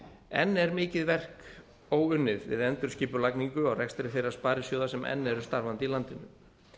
enn er mikið verk óunnið við endurskipulagningu á rekstri þeirra sparisjóða sem enn eru starfandi í landinu